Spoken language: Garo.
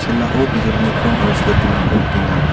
chel·ao bijolini krong aro silitingrangko nikenga.